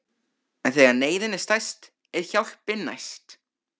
En þegar neyðin er stærst er hjálpin næst.